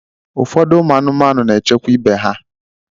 Ụfọdụ ụmụ anụmanụ n'echekwa ibe ha.